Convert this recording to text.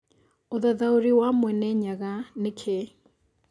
ũthathaũrĩ wa Mwene Nyaga nĩ kĩĩ